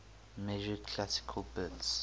measured classical bits